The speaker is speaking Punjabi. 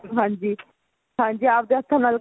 ਹਾਂਜੀ ਹਾਂਜੀ ਆਪਦੇ ਹੱਥਾਂ ਨਾਲ